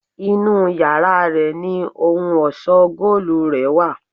Inú yàrá rẹ̀ ni ohun ọ̀ṣọ́ góòlù rè wà.